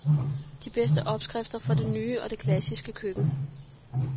De bedste opskrifter fra det nye og det klassiske køkken.